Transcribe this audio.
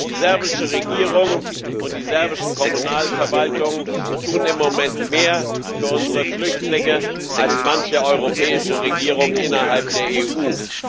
Die serbische Regierung und die serbischen Kommunalverwaltungen tun im Moment mehr für unsere Flüchtlinge als manche europäische Regierung innerhalb der EU.